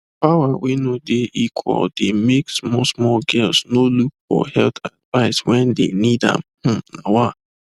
power wey no dey equal dey make small small girls no look for health advice when they need am hmm nawa